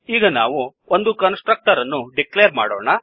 ಈಗ ನಾವು ಒಂದು ಕನ್ಸ್ ಟ್ರಕ್ಟರ್ ಅನ್ನು ಡಿಕ್ಲೇರ್ ಮಾಡೋಣ